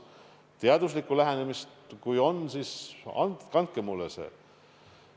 Kui teil on teada teaduslikku lähenemist, siis andke see mulle ka.